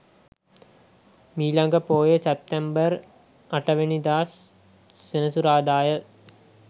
මීළඟ පෝය සැප්තැම්බර් 08 වැනිදා සෙනසුරාදා ය.